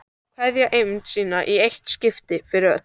Kveðja eymd sína í eitt skipti fyrir öll.